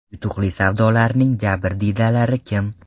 Yutuqli savdolarning jabrdiydalari kim?